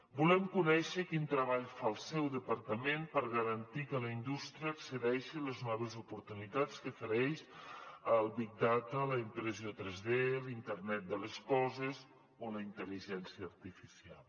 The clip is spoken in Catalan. volem conèixer quin treball fa el seu departament per garantir que la indústria accedeixi a les noves oportunitats que ofereix el big data la impressió 3d l’internet de les coses o la intel·ligència artificial